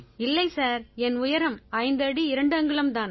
இல்லை சார் என் உயரம் 5 அடி 2 அங்குலம் தான்